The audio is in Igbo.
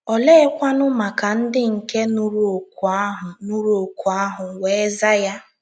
Oleekwanụ maka ndị nke nụrụ òkù ahụ nụrụ òkù ahụ wee za ya?